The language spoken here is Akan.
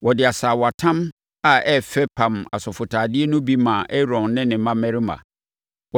Wɔde asaawatam a ɛyɛ fɛ pam asɔfotadeɛ no bi maa Aaron ne ne mmammarima.